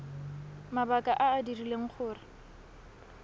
mabaka a a dirileng gore